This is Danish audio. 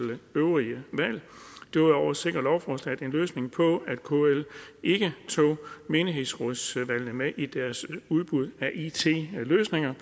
øvrige valg derudover sikrer lovforslaget en løsning på at kl ikke tog menighedsrådsvalgene med i deres udbud af it løsninger